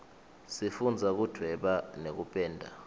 sifundza kudvweba nekupenda